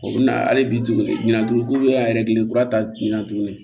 O bɛ na hali bi tuguni ko y'a yɛrɛ kelen kura ta bina tuguni